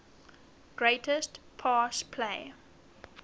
greatest pass play